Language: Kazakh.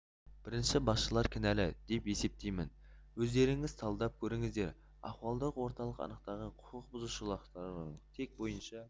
бірінші басшылар кінәлі деп есептеймін өздеріңіз талдап көріңіздер ахуалдық орталық анықтаған құқық бұзушылықтардың тек бойынша